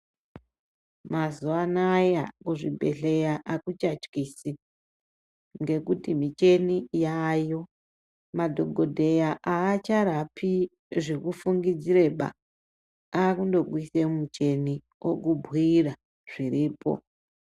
Mazuwa anaya kuzvibhedhlera akuchatyisi ngekuti mucheni yayo. Madhokotera acharapi zvekufungidziraba akungokuisa mucheni okubhiira zviripo .